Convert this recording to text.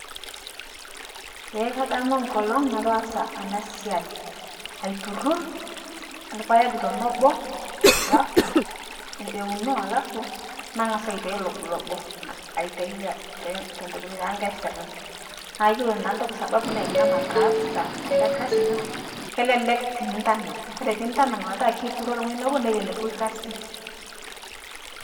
Eee kadamu nkolong' nataasa ana sai, aiturur lpaeg tenebo alafu euno alafu nang'asu aitai loblobo aitai te te tetokutoi tekasirim, naa yiolo naa toki sababu naikuna mataasa ale Kasi naa kelelek tinintanang', Kore piintanang' petaa keituuro teng'oji nebo neleleku lgasi.